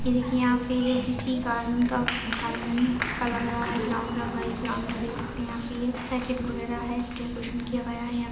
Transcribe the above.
ये देखिये यहाँ पे जो किसी गार्डन का गार्डन का लग रहा है ग्राउंड लग रहा है इस ग्राउंड में आप देख सकते है यहाँ पे वगैरा है डेकोरेशन किया गया है।